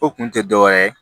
O kun tɛ dɔwɛrɛ ye